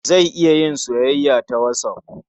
Za a iya yin soyayya ta whatsApp.